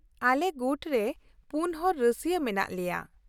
-ᱟᱞᱮ ᱜᱩᱴ ᱨᱮ ᱯᱩᱱ ᱦᱚᱲ ᱨᱟᱹᱥᱭᱟᱹ ᱢᱮᱱᱟᱜ ᱞᱮᱭᱟ ᱾